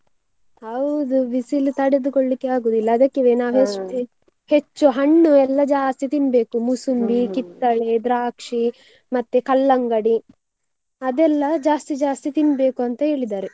ಹೌದು, ಬಿಸಿಲು ತಡೆದುಕೊಳ್ಳಿಕ್ಕೆ ಆಗೋದಿಲ್ಲ ಅದಕ್ಕೆವೆ ನಾವು ಹೆಚ್ಚು ಹಣ್ಣು ಎಲ್ಲ ಜಾಸ್ತಿ ತಿನ್ಬೇಕು, ಕಿತ್ತಳೆ, ದ್ರಾಕ್ಷಿ ಮತ್ತೆ ಕಲ್ಲಂಗಡಿ, ಅದೆಲ್ಲ ಜಾಸ್ತಿ ಜಾಸ್ತಿ ತಿನ್ಬೇಕು ಅಂತ ಹೇಳಿದ್ದಾರೆ.